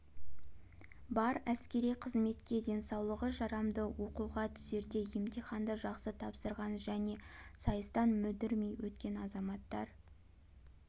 бар әскери қызметке денсаулығы жарамды оқуға түсерде емтиханды жақсы тапсырған және сайыстан мүдірмей өткен азаматтар